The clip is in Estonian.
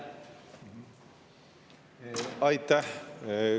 Aitäh!